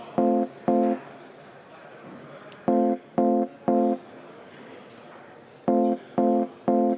Istungi lõpp kell 17.44.